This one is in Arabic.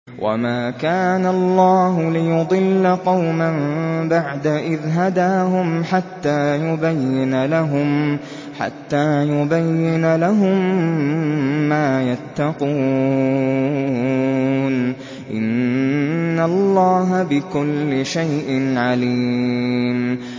وَمَا كَانَ اللَّهُ لِيُضِلَّ قَوْمًا بَعْدَ إِذْ هَدَاهُمْ حَتَّىٰ يُبَيِّنَ لَهُم مَّا يَتَّقُونَ ۚ إِنَّ اللَّهَ بِكُلِّ شَيْءٍ عَلِيمٌ